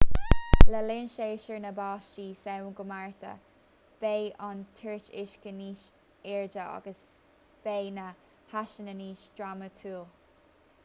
le linn séasúr na báistí samhain go márta beidh an toirt uisce níos airde agus beidh na heasanna níos drámatúil